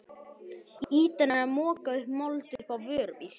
Ýtan er að moka mold upp á vörubíl.